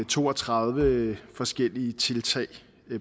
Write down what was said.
to og tredive forskellige tiltag